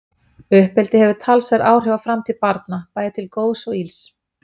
Uppeldi hefur talsverð áhrif á framtíð barna, bæði til góðs og ills.